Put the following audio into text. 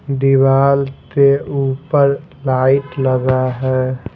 दिवार के ऊपर लाइट लगा है।